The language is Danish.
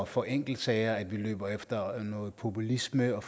for enkeltsager at vi løber efter noget populisme og